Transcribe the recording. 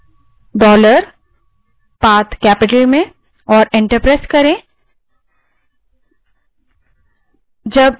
बड़े अक्षर में और enter दबायें